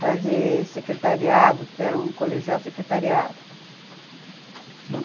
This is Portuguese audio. Fazer secretariado, porque era um colegial secretariado, uhum.